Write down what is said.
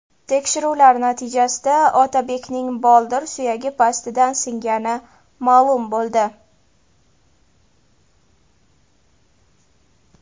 Tekshiruvlar natijasida Otabekning boldir suyagi pastidan singani ma’lum bo‘ldi.